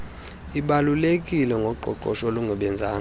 ibalulekileyo ngoqoqosho olungebanzanga